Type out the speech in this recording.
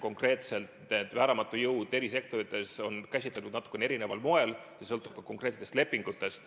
Konkreetselt on vääramatut jõudu eri sektorites käsitletud natuke erineval moel, palju sõltub ka konkreetsetest lepingutest.